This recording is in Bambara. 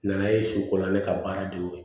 Nana ye su ko la ne ka baara de y'o ye